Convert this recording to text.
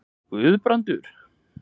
Guðbrandur